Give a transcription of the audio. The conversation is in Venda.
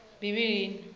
bivhilini